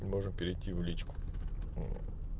и можно перейти в личку